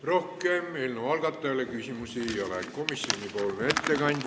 Rohkem eelnõu algatajale küsimusi ei ole.